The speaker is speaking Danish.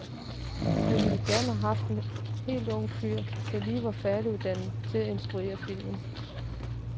Han ville gerne have haft en helt ung fyr, der lige var færdiguddannet til at instruere filmen.